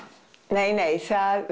nei nei